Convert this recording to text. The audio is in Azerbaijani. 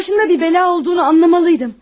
Başında bir bəla olduğunu anlamalıydım.